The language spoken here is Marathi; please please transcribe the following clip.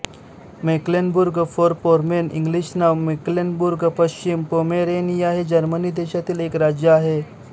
मेक्लेनबुर्गफोरपोमेर्न इंग्लिश नाव मेक्लेनबुर्गपश्चिम पोमेरेनिया हे जर्मनी देशामधील एक राज्य आहे